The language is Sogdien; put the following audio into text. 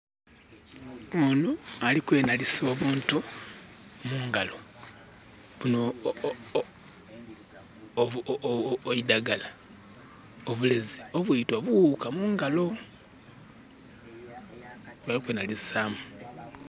Onho ali kwenhalisa obuntu mungalo, buno...eidgala, obulezi obwita obuwuuka mungalo. Ali kwenhalisaamu.